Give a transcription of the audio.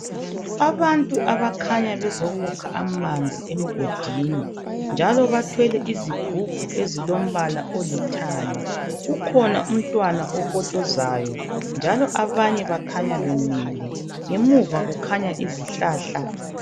Abantu okukhanya bezokukha amanzi emgodini njalo bathwele izigubhu ezilombala olithanga kukhona umntwana okotshozayo njalo abanye bakhanya bemile ngemuva kukhanya izihlahla.